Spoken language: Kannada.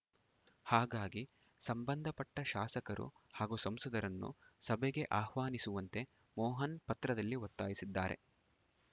ಹಾಗಾಗಿ ಸಂಬಂಧಪಟ್ಟಶಾಸಕರು ಹಾಗೂ ಸಂಸದರನ್ನು ಸಭೆಗೆ ಆಹ್ವಾನಿಸುವಂತೆ ಮೋಹನ್‌ ಪತ್ರದಲ್ಲಿ ಒತ್ತಾಯಿಸಿದ್ದಾರೆ